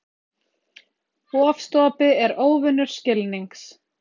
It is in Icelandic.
Ofstopi er óvinur skilnings.